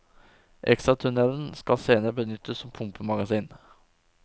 Ekstratunnelen skal senere benyttes som pumpemagasin.